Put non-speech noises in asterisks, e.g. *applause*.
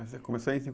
Mas você começou em *unintelligible*